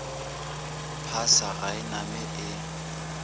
phasa ga e name e